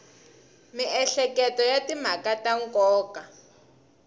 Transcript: miehleketo ya timhaka ta nkoka